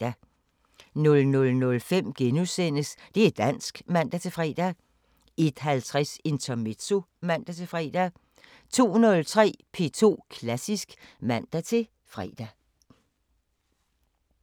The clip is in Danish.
00:05: Det´ dansk *(man-fre) 01:50: Intermezzo (man-fre) 02:03: P2 Klassisk (man-fre)